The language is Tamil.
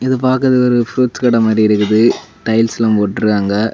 இது பாக்குறதுக்கு ஒரு ஃப்ரூட்ஸ் கடை மாதிரி இருக்குது டைல்ஸ்லாம் போட்டுருக்காங்க.